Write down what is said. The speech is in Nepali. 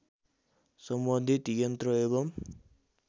सम्बन्धित यन्त्र एवम